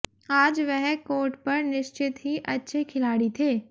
आज वह कोर्ट पर निश्चित ही अच्छे खिलाड़ी थे